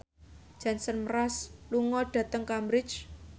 Jason Mraz lunga dhateng Cambridge